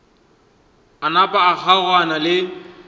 a napa a kgaogana le